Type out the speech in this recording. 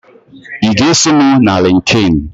Ị ga-eso m na Lịnkịn?